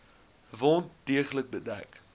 wond deeglik bedek